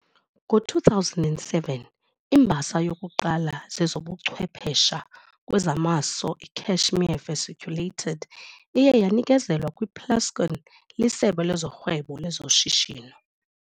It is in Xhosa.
Ngo-2007, imbasa yokuqala zezobuchwephesha kwezamaso iCashmere's Vesiculated iye yanikezelwa kwiPlascon liSebe lezoRhwebo lezoShishino.